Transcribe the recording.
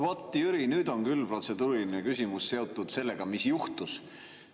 Vot, Jüri, nüüd on küll protseduuriline küsimus seotud sellega, mis juhtus.